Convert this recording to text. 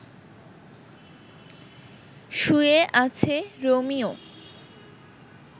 শুয়ে আছে রোমিও